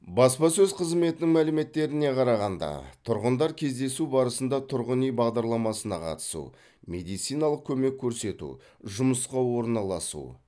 баспасөз қызметінің мәліметтеріне қарағанда тұрғындар кездесу барысында тұрғын үй бағдарламасына қатысу медициналық көмек көрсету жұмысқа орналасу